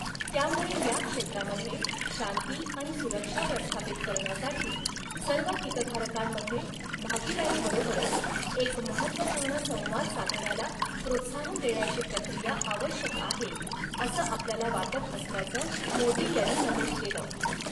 त्यामुळे या क्षेत्रामध्ये शांती आणि सुरक्षा प्रस्थापित करण्यासाठी सर्व हितधारकांमध्ये भागीदारीबरोबरच एक महत्वपूर्ण संवाद साधण्याला प्रोत्साहन देण्याची प्रक्रिया आवश्यक आहे, असं आपल्याला वाटत असल्याचं मोदी यांनी नमूद केलं.